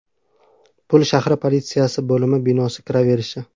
Pul shahri politsiyasi bo‘limi binosi kiraverishi.